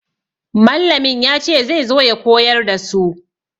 Mallamin ya ce zai zo ya koyar da su.